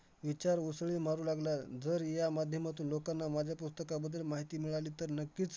अकरा मी शाळेमध्ये असताना एक अजून एक किस्सा झालेला मी आमच्या शाळेला canteen नव्ह~